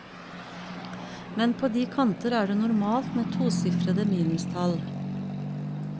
Men på de kanter er det normalt med tosifrede minustall.